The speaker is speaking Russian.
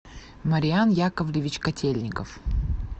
мариан яковлевич котельников